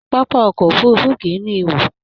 Pápá ọkọ òfurùnfu kìí ní ihò.